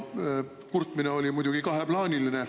Kurtmine oli kaheplaaniline.